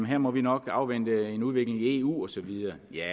her må vi nok afvente en udvikling i eu osv vil jeg